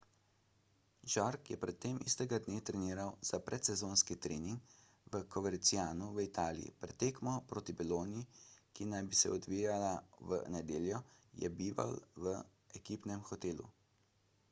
jarque je pred tem istega dne treniral za predsezonski trening v covercianu v italiji pred tekmo proti bologni ki naj bi se odvijala v nedeljo je bival v ekipnem hotelu